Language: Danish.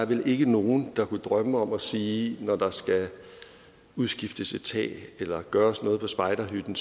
vel ikke nogen der kunne drømme om at sige når der skal udskiftes et tag eller gøres noget ved spejderhytten